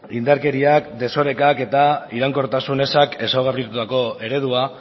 indarkeriak desorekak eta iraunkortasun ezak ezaugarritutako eredua